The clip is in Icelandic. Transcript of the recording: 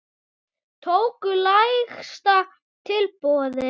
Tóku lægsta tilboði í.